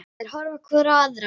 Þær horfa hvor á aðra.